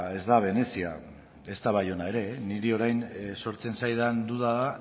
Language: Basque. ez da venezia ezta baiona ere eh niri orain sortzen zaidan duda